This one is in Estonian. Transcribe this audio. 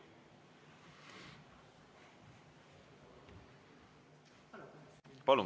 Palun!